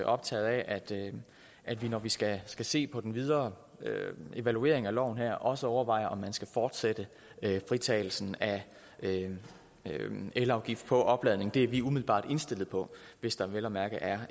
optaget af at vi når vi skal skal se på den videre evaluering af loven her også overvejer om man skal fortsætte fritagelsen af elafgift på opladning det er vi umiddelbart indstillet på hvis der vel at mærke er